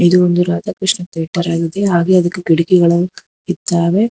ಇದು ಒಂದು ರಾಧ ಕೃಷ್ಣ ತೇಟರ್ ಐತಿ ಹಾಗೆ ಇದಕ್ಕೆ ಕಿಟಕಿಗಳನ್ನು ಇದ್ದಾವೆ.